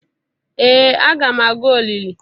Ee aga m aga olili